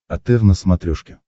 отр на смотрешке